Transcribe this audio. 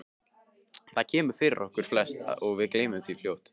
Það kemur fyrir okkur flest og við gleymum því fljótt.